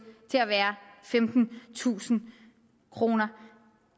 til at være femtentusind kroner